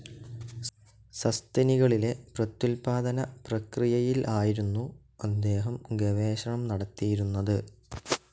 സസ്തനികളിലെ പ്രത്യുത്പാദനപ്രക്രിയയിൽ ആയിരുന്നു അദ്ദേഹം ഗവേഷണം നടത്തിയിരുന്നത്.